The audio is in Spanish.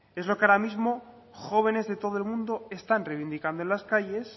es lo que ahora mismo jóvenes de todo el mundo están revindicando en las calles